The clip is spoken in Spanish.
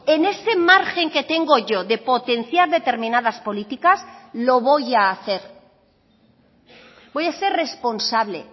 en ese margen que tengo yo de potenciar determinadas políticas lo voy a hacer voy a ser responsable